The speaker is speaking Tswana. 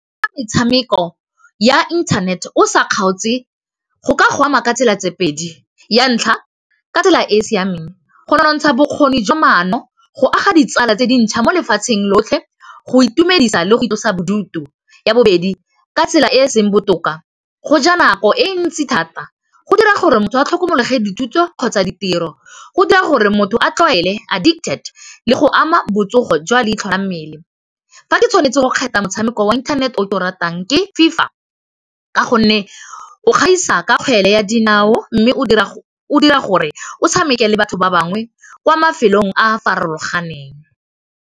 Metshameko ya internet-e o sa kgaotse go ka go ama ka tsela tse pedi ya ntlha ka tsela e siameng go nontsha bokgoni jwa mono go aga ditsala tse dintšha mo lefatsheng lotlhe go itumedisa le go itlosa bodutu, ya bobedi ka tsela e e seng botoka go ja nako e ntsi thata go dira gore motho a tlhomologe dithuto kgotsa ditiro go dira gore motho a tlwaele addicted le go ama botsogo jwa leitlho la mmele, fa ke tshwanetse go kgetha motshameko wa inthanete o ke o ratang ke FIFA ka gonne o gaisa ka kgwele ya dinao mme o dira gore o tshameke le batho ba bangwe kwa mafelong a farologaneng.